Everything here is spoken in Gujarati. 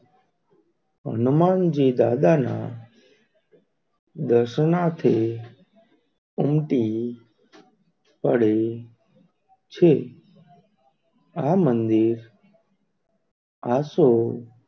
હનુમાનજી દાદા ના દર્શનના થી ઉમટી પડે છે? આ મંદિર આસો,